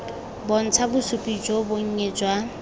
bontsha bosupi jo bonnye jwa